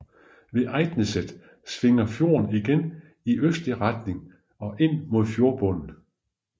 Ved Eidneset svinger fjorden igen i østlig retning ind mod fjordbunden